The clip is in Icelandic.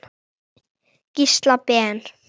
Gísla Ben.